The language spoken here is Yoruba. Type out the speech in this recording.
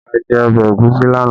A jẹ ọbẹ̀ ẹ̀gúsí lánàá